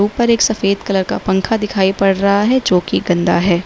उपर एक सफेद कलर का पंखा दिखाई पड़ रहा है जो कि गन्दा है।